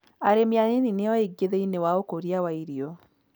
Arĩmi a nini nĩ o aingĩ thĩiniĩ waũkũria wa irio.